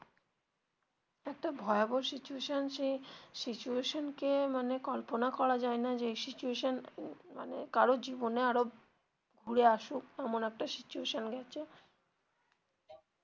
একটা ভয়াবহ situation সেই situation কে মানে কল্পনা করা যায় না যে এই situation মানে কারোর জীবনে আবার ঘুরে আসুক এমন একটা situation গেছে.